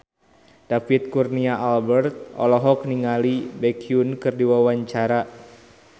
David Kurnia Albert olohok ningali Baekhyun keur diwawancara